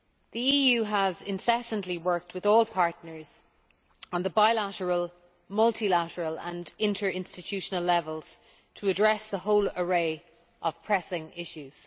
The EU has incessantly worked with all partners on the bilateral, multilateral and interinstitutional levels to address the whole array of pressing issues.